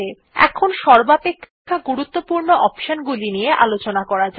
এখানে সর্বাপেক্ষা গুরুত্বপূর্ণ অপশন গুলি নিয়ে আলোচনা করা যাক